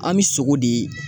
An bɛ sogo de